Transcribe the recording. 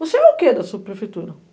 Você é o quê da subprefeitura?